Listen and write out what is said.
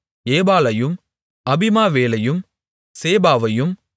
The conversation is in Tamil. ஏபாலையும் அபிமாவேலையும் சேபாவையும்